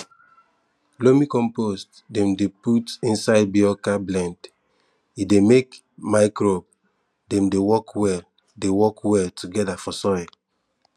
loamy compost dem dey put inside biochar blend e dey make microbe dem dey work well dey work well together for soil